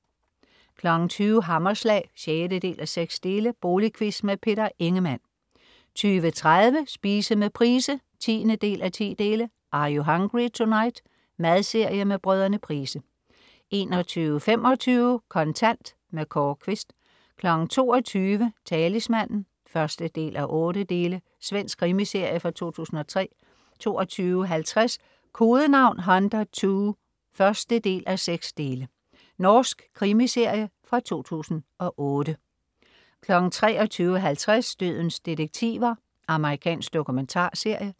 20.00 Hammerslag 6:6. Boligquiz. Peter Ingemann 20.30 Spise med Price 10:10. "Are you hungry tonight?". Madserie med Brødrene Price 21.25 Kontant. Kåre Quist 22.00 Talismanen 1:8. Svensk krimiserie fra 2003 22.50 Kodenavn Hunter II 1:6. Norsk krimiserie fra 2008 23.50 Dødens detektiver. Amerikansk dokumentarserie